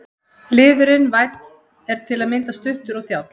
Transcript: Liðurinn- vænn er til að mynda stuttur og þjáll.